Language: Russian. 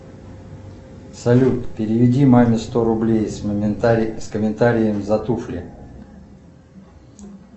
салют переведи маме сто рублей с комментарием за туфли